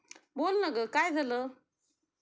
बोल ना ग काय झालं